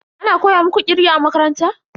Ana koya muku kirge a makaranta?